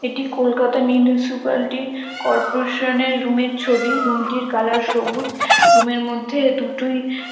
এটি Kolkata municipality corporation এর room এর ছবি। রুম টির কালার সবুজ রুম এর মধ্যে দুটোই --